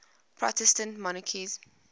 protestant monarchs